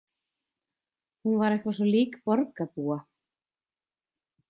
Hún var eitthvað svo lík borgarbúa.